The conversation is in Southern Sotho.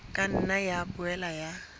ka nna ya boela ya